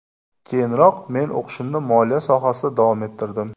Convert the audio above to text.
Keyinroq men o‘qishimni moliya sohasida davom ettirdim.